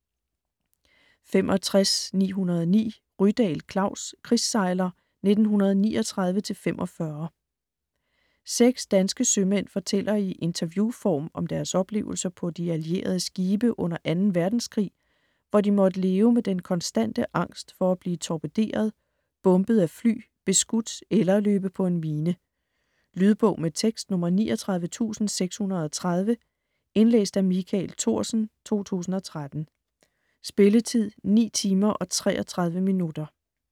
65.909 Rydahl, Klaus: Krigssejler 1939-45 Seks danske sømænd fortæller i interviewform om deres oplevelser på de allierede skibe under 2. verdenskrig, hvor de måtte leve med den konstante angst for at blive torpederet, bombet af fly, beskudt eller løbe på en mine. Lydbog med tekst 39630 Indlæst af Michael Thorsen, 2013. Spilletid: 9 timer, 33 minutter.